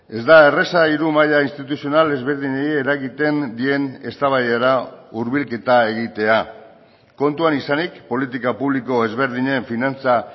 ez da erraza hiru maila instituzional ezberdinei eragiten dien eztabaidara hurbilketa egitea kontuan izanik politika publiko ezberdinen finantza